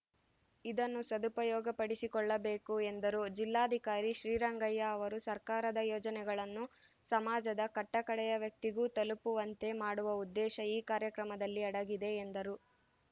ಇದನ್ನು ಸದುಪಯೋಗಪಡಿಸಿಕೊಳ್ಳಬೇಕು ಎಂದರು ಜಿಲ್ಲಾಧಿಕಾರಿ ಶ್ರೀರಂಗಯ್ಯ ಅವರು ಸರ್ಕಾರದ ಯೋಜನೆಗಳನ್ನು ಸಮಾಜದ ಕಟ್ಟಕಡೆಯ ವ್ಯಕ್ತಿಗೂ ತಲುಪುವಂತೆ ಮಾಡುವ ಉದ್ದೇಶ ಈ ಕಾರ್ಯಕ್ರಮದಲ್ಲಿ ಅಡಗಿದೆ ಎಂದರು